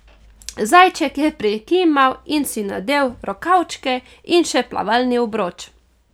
Zajček je prikimal in si nadel rokavčke in še plavalni obroč.